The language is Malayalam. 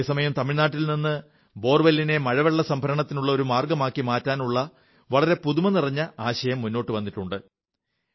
അതേസമയം തമിഴ്നാട്ടിൽ നിന്ന് ബോർവെല്ലിനെ മഴവെള്ളസംഭരണത്തിനുള്ള ഒരു മാർഗ്ഗമാക്കി മാറ്റാനുള്ള വളറെ പുതുമ നിറഞ്ഞ ആശയം മുന്നോട്ടു വന്നിട്ടുണ്ട്